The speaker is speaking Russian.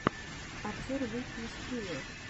обзор лифи из хиэ